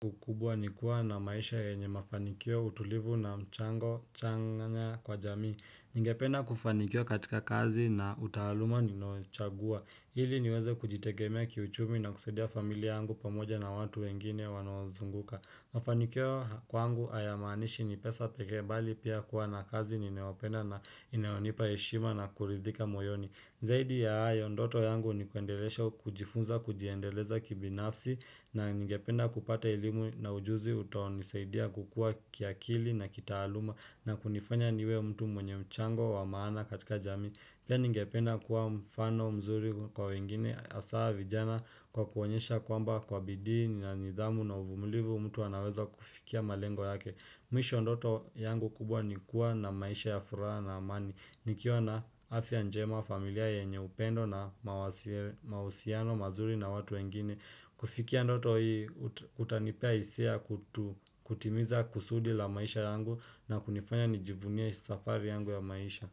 Kikubwa nikuwa na maisha yenye mafanikio, utulivu na mchango chanya kwa jamii. Ninge penda kufanikiwa katika kazi na taaluma ninochagua. Ili niweze kujitegemea kiuchumi na kusaidia familia yangu pamoja na watu wengine wanao nizunguka. Mafanikio kwangu hayamaanishi ni pesa pekee, bali pia kuwa na kazi ninayopenda na inayonipa heshima na kuridhika moyoni. Zaidi ya hayo ndoto yangu ni kuendelea kujifunza, kujiendeleza kibinafsi na ningependa kupata elimu na ujuzi utakao nisaidia kukua kiakili na kitaaluma na kunifanya niwe mtu mwenye mchango wa maana katika jamii Pia ningependa kuwa mfano mzuri kwa wengine hasa vijana kwa kuonyesha kwamba kwa bidii na nidhamu na uvumulivu mtu anaweza kufikia malengo yake. Mwisho ndoto yangu kubwa ni kuwa na maisha ya furaha na amani. Nikiwa na afya njema, familia yenye upendo na mahusiano, mazuri na watu wengine. Kufikia ndoto hii, kutanipa hisia kutimiza kusudi la maisha yangu na kunifanya nijivunia safari yangu ya maisha.